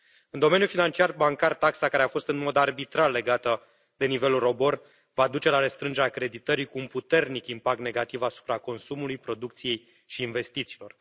În domeniul financiar bancar, taxa care a fost în mod arbitrar legată de nivelul ROBOR va duce la restrângerea creditării, cu un puternic impact negativ asupra consumului, producției și investițiilor.